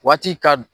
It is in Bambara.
Waati ka